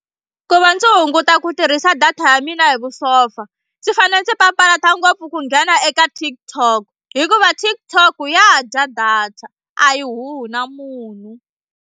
Ku va ndzi hunguta ku tirhisa data ya mina hi vusopfa ndzi fanele ndzi papalata ngopfu ku nghena eka TikTok hikuva TikTok ya ha dya data a yi huhi na munhu.